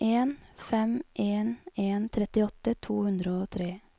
en fem en en trettiåtte to hundre og tre